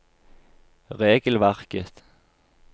regelverket